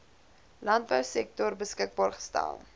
landbousektor beskikbaar gestel